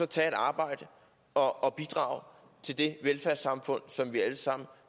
tage et arbejde og bidrage til det velfærdssamfund som vi alle sammen